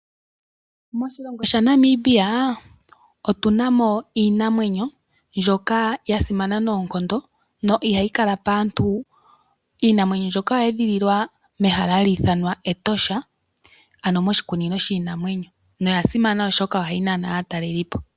Moshilongo sha Namibia otuna mo iinamwenyo mbyoka ya simana noonkondo no ihayi kala paantu. Iinamwenyo mbyoka oya edhililwa mehala hali ithanwa Etosha, ano moshikunino shiinamwenyo. Oya simana oshoka oha yi nana aatalelipo.